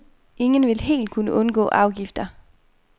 Ingen vil helt kunne undgå afgifter.